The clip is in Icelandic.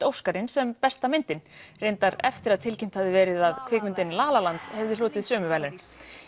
Óskarinn sem besta myndin reyndar eftir að tilkynnt hafði verið að kvikmyndin la la land hefði hlotið sömu verðlaun